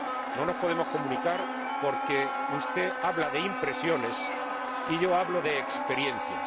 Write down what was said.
No nos podemos comunicar porque usted habla de impresiones y yo hablo de experiencias.